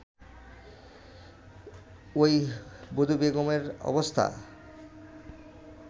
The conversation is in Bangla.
ঐ বধূবেগমের অবস্থা